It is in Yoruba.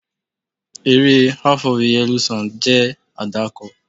Eré "Half of a Yellow Sun" jẹ́ àdàkọ.